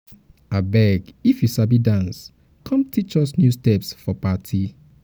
abeg if you sabi dance come teach us new steps steps for party.